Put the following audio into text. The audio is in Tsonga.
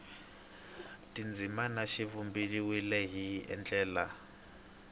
tindzimana swi vumbiwile hi ndlela